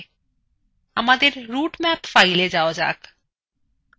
আমাদের routemap fileএ যাওয়া যাক